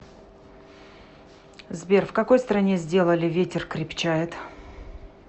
сбер в какой стране сделали ветер крепчает